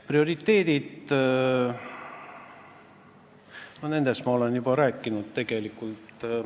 Prioriteetidest ma olen juba tegelikult rääkinud.